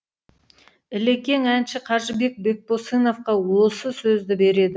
ілекең әнші қажыбек бекбосыновқа осы сөзді береді